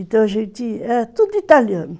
Então a gente... É tudo italiano.